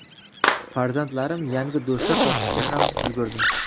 Farzandlarim yangi do‘stlar topishga ham ulgurdi”.